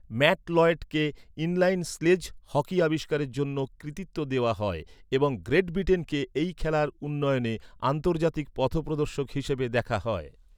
Mat লয়েডকে inline sledge hockey আবিষ্কারের জন্য কৃতিত্ব দেওয়া হয় এবং গ্রেট ব্রিটেনকে এই খেলার উন্নয়নে আন্তর্জাতিক পথপ্রদর্শক হিসাবে দেখা হয়।